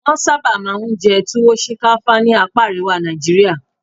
Wọ́n sábà máa ń jẹ Tuwo shinkafa ní apa àríwá Nàìjíríà.